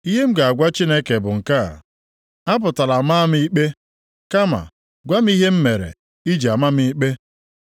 Ihe m ga-agwa Chineke bụ nke a: Apụtala maa m ikpe, kama gwa m ihe mere i ji ama m ikpe.